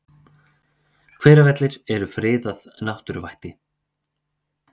Hveravellir eru friðað náttúruvætti.